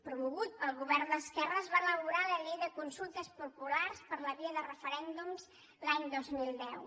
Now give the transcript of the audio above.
promogut pel govern d’esquerres va elaborar la llei de consultes populars per via de referèndum l’any dos mil deu